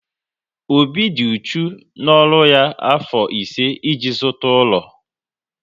Obi dị uchu n'ọrụ afọ ise e ji zụta ụlọ